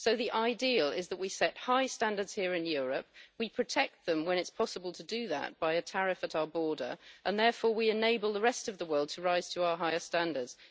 So the ideal is that we set high standards here in Europe, we protect them when it is possible to do that by a tariff at our border, and therefore we enable the rest of the world to rise to our higher standards.